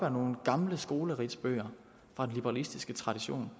af nogle gamle skolebøger fra den liberalistiske tradition